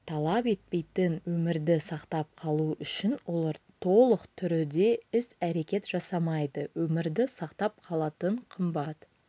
талап етпейтін өмірді сақтап қалу үшін олар толық түріде іс-әрекет жасамайды өмірді сақтап қалатын қымбат